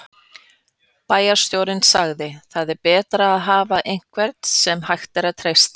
Bæjarstjórinn sagði: Það er betra að hafa einhvern sem hægt að treysta.